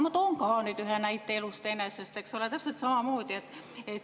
Ma toon ka ühe näite elust enesest, eks ole, täpselt samamoodi.